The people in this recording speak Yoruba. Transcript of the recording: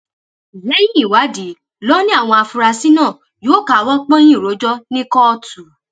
lẹyìn ìwádìí ló ní àwọn afurasí náà yóò káwọ pọnyìn rojọ ní kóòtù